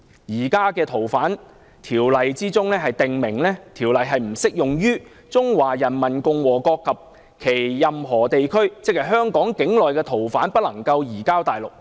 現時《條例》訂明，《條例》不適用於中華人民共和國及其任何地區，即香港境內的逃犯不能移交大陸。